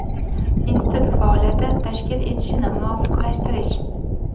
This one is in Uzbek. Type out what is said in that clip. institut faoliyati tashkil etilishini muvofiqlashtirish;.